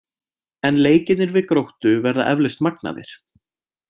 En leikirnir við Gróttu verða eflaust magnaðir.